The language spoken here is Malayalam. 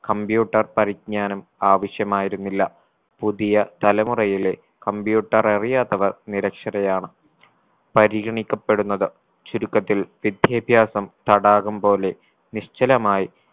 computer പരിജ്ഞാനം ആവശ്യമായിരുന്നില്ല പുതിയ തലമുറയിലെ computer അറിയാത്തവർ നിരക്ഷരയാണ് പരിഗണിക്കപ്പെടുന്നത് ചുരുക്കത്തിൽ വിദ്യാഭ്യാസം തടാകം പോലെ നിശ്ചലമായി